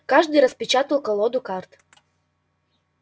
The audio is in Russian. каждый распечатал колоду карт